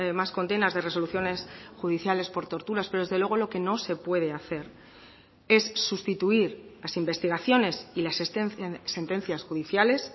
más condenas de resoluciones judiciales por torturas pero desde luego lo que no se puede hacer es sustituir las investigaciones y las sentencias judiciales